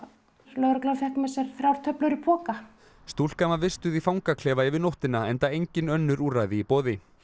lögreglan fékk með sér þrjár töflur í poka stúlkan var vistuð í fangaklefa yfir nóttina enda engin önnur úrræði í boði